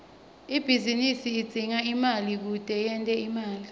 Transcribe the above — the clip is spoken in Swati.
ibhizinisi idzinga imali kute yente imali